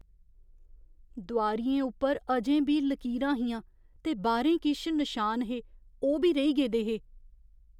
दोआरियें उप्पर अजें बी लकीरां हियां, ते बाह्‌रें किश नशान हे ओह् बी रेही गेदे हे।